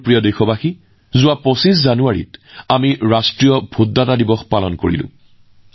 মোৰ প্ৰিয় দেশবাসী যোৱা ২৫ জানুৱাৰীত আমি সকলোৱে ৰাষ্ট্ৰীয় ভোটাৰ দিৱস উদযাপন কৰিলোঁ